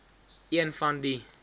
een van die